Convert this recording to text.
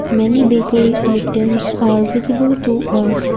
many bakery items are visible to us.